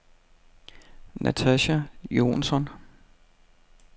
Natasha Jonsson